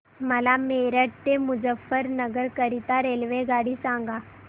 मला मेरठ ते मुजफ्फरनगर करीता रेल्वेगाडी सांगा